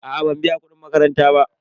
A'a ban biya kudin makaranta ba.